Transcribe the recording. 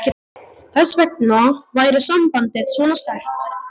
Þess vegna væri sambandið svona sterkt.